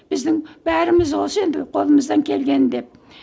біздің бәріміз осы енді қолымыздан келгені деп